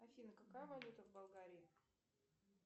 афина какая валюта в болгарии